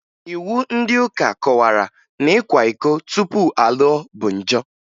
Iwu ndị ụka kọwara na ịkwa iko tupu a lụọ bụ njọ